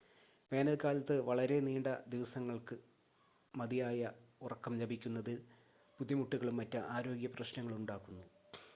വേനൽക്കാലത്ത് വളരെ നീണ്ട ദിവസങ്ങൾ മതിയായ ഉറക്കം ലഭിക്കുന്നതിൽ ബുദ്ധിമുട്ടുകളും മറ്റ് ആരോഗ്യ പ്രശ്നങ്ങളും ഉണ്ടാക്കുന്നു